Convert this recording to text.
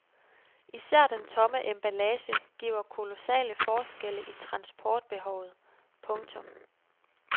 Især den tomme emballage giver kolossale forskelle i transportbehovet. punktum